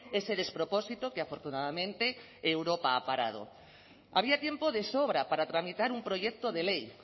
ese despropósito que afortunadamente europa ha parado había tiempo de sobra para tramitar un proyecto de ley